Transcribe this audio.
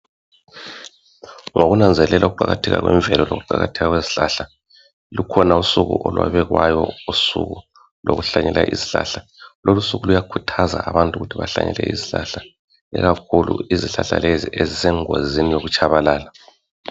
Ngokunanzelela ukuqakatheka kwemvelo lokuqakatheka kwezihlahla lukhona usuku olwabekwayo usuku lokuhlanyela izihlahla, lolu suku luyakhuthaza abantu ukuthi bahlanyele izihlahla ikakhulu izihlahla lezi ezisengozini yokutshabalala